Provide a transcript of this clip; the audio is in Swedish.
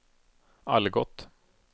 Algot